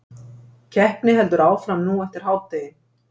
Keppni heldur áfram nú eftir hádegi